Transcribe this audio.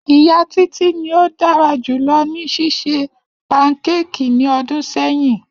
Iya Titi ni o dara julọ ni ṣiṣe pankéèkì ni ọdun sẹyin.